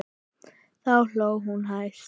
Þá hló hún hæst.